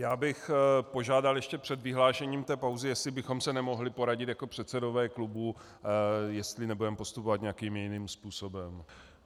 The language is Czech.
Já bych požádal ještě před vyhlášením té pauzy, jestli bychom se nemohli poradit jako předsedové klubů, jestli nebudeme postupovat nějakým jiným způsobem.